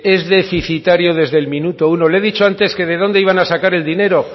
es deficitario desde el minuto uno le he dicho antes que de dónde iban a sacar el dinero